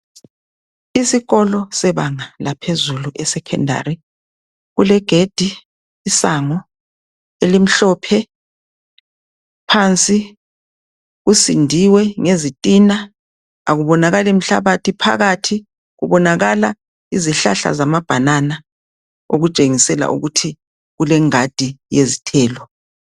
Isikolo sebanga laphezulu eSecondary kulegedi, isango elimhlophe phansi kusindiwe ngezitina akubonakali mhlabathi phakathi kubonakala izihlahla zama banana okutshengisela ukuthi kulengadi yezithelo.